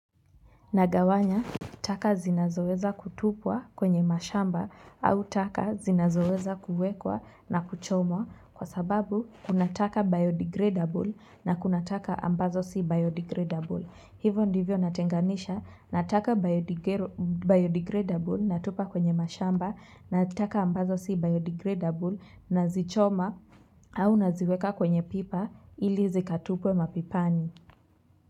Nagawanya taka zinazoweza kutupwa kwenye mashamba au taka zinazoweza kuwekwa na kuchomwa kwa sababu kunataka biodegradable na kunataka ambazo si biodegradable. Hivyo ndivyo natenganisha nataka biodegradable natupa kwenye mashamba nataka ambazo si biodegradable na zi choma au naziweka kwenye pipa ili zikatupwe mapipani.